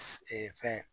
fɛn